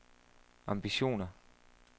ambitioner